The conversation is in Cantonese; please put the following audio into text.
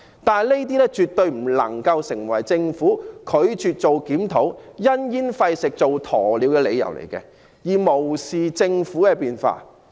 不過，這些絕對不能成為政府拒絕檢討，因噎廢食、做鴕鳥的理由，政府不應無視社會的變化。